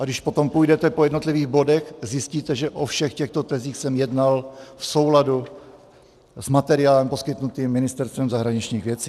A když potom půjdete po jednotlivých bodech, zjistíte, že o všech těchto tezích jsem jednal v souladu s materiálem poskytnutým Ministerstvem zahraničních věcí.